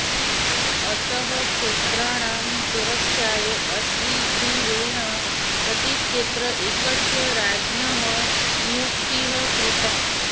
अतः क्षेत्राणां सुरक्षायै अश्वग्रीवेण प्रतिक्षेत्रे एकस्य राज्ञः नियुक्तिः कृता